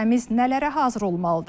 Ölkəmiz nələrə hazır olmalıdır?